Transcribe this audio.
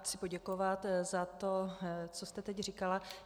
Chci poděkovat za to, co jste teď říkala.